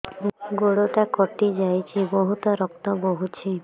ଗୋଡ଼ଟା କଟି ଯାଇଛି ବହୁତ ରକ୍ତ ବହୁଛି